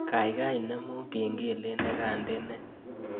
Gaigai inemu kengelet negandene